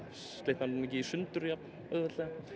slitnar þá ekki í sundur jafn auðveldlega